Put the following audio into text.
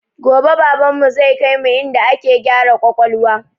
Gobe baban mu zai kaimu inda ake gyara kwakwalwa